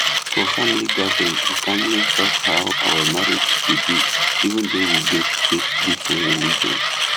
for family gathering we calmly talk how our marriage go be even though we get get different religion